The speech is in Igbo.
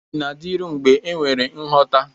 Enyi na-adịru mgbe ma enwere nghọta.